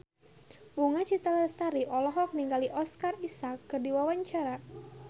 Bunga Citra Lestari olohok ningali Oscar Isaac keur diwawancara